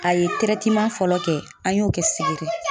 A ye fɔlɔ kɛ, an y'o kɛ Sigiri